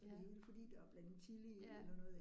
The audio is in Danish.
Ja. Ja